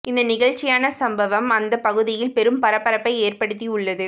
இந்த நிகழ்ச்சியான சம்பவம் அந்த பகுதியில் பெரும் பரபரப்பை ஏற்படுத்தி உள்ளது